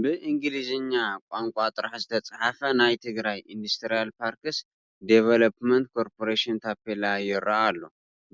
ብእንግሊዝኛ ቋንቋ ጥራሕ ዝተፃሕፈ ናይ ትግራይ ኢንዳስትርያል ፓርክስ ዲቮሎፕመንት ኮርፐሬሽን ታፔላ ይርአ ኣሎ፡፡